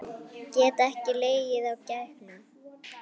Get ekki legið á gægjum.